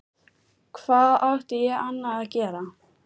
Hvað átti ég annað að gera?